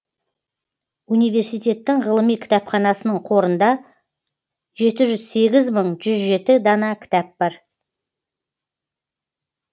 университеттің ғылыми кітапханасының қорында жеті жүз сегіз мың жүз жеті дана кітап бар